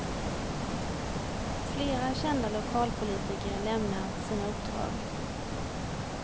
Flera kända lokalpolitiker lämnar sina uppdrag.